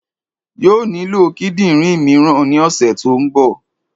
Yóò nílò kídìnrín míràn ní òsè tó n bo